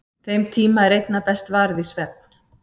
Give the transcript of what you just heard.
Þeim tíma er einna best varið í svefn.